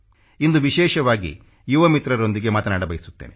ಇಂದು ವಿಶೇಷವಾಗಿ ಯುವ ಮಿತ್ರರೊಂದಿಗೆ ಮಾತನಾಡ ಬಯಸುತ್ತೇನೆ